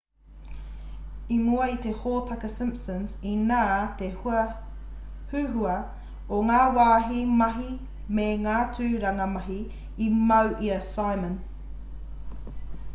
i mua i te hōtaka simpsons inā te huhua o ngā wāhi mahi me ngā tūranga mahi i mau i a simon